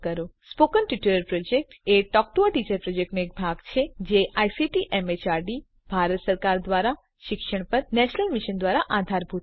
spoken tutorial project એ talk to a teacher પ્રોજેક્ટનો એક ભાગ છે જે આઇસીટી એમએચઆરડી ભારત સરકાર દ્વારા શિક્ષણ પર નેશનલ મિશન દ્વારા આધારભૂત છે